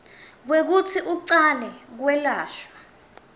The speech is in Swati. kwekutsi ucale kwelashwa